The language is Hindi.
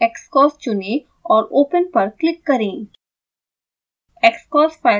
proportionalxcos चुनें और open पर क्लिक करें